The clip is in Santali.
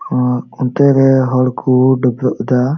ᱟ ᱟᱱᱛᱤ ᱨᱮ ᱦᱚᱲ ᱠᱩ ᱫᱟᱵᱨᱟᱹ --